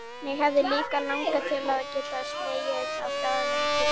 Mig hefði líka langað til að geta slegið á þráðinn til